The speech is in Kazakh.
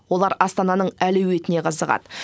олар астананың әлеуетіне қызығады